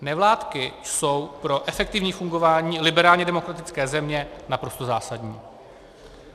Nevládky jsou pro efektivní fungování liberálně demokratické země naprosto zásadní.